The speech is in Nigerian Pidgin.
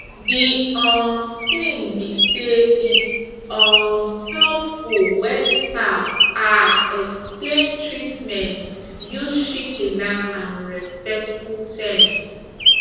de um tin be say its um helpful wen staff ah explain treatments use shikena and respectful terms